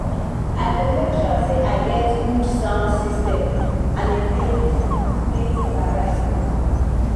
i go make sure say i get good sound system and a playlist with plenty variety